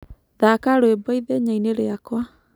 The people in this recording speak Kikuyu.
Thaka rwĩmbo ĩthenyaĩni rĩakwa